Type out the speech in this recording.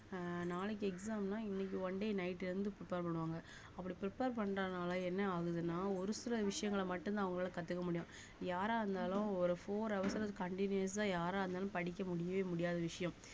அஹ் நாளைக்கு exam னா இன்னைக்கு one daynight ல இருந்து prepare பண்ணுவாங்க அப்படி prepare பண்றதுனால என்ன ஆகுதுன்னா ஒரு சில விஷயங்கள மட்டும்தான் அவங்களால கத்துக்க முடியும் யாரா இருந்தாலும் ஒரு four hours ல continuous ஆ யாரா இருந்தாலும் படிக்க முடியவே முடியாத விஷயம்